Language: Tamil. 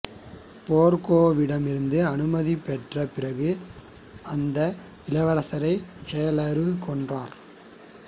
பெர்கேவிடமிருந்து அனுமதி பெற்ற பிறகு அந்த இளவரசரை ஹுலாகு கொன்றார்